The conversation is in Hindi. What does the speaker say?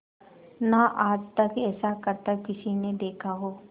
ना आज तक ऐसा करतब किसी ने देखा हो